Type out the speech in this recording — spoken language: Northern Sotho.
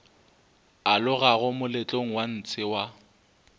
alogago moletlong wa ntshe wa